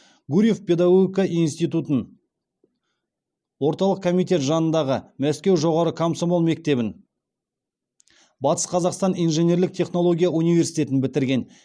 гурьев педагогика институтын орталық комитет жанындағы мәскеу жоғары комсомол мектебін батыс қазақстан инженерлік технология университетін бітірген